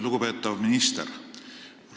Lugupeetav minister!